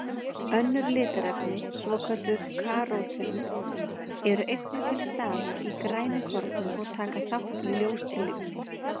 Önnur litarefni, svokölluð karótín, eru einnig til staðar í grænukornum og taka þátt í ljóstillífun.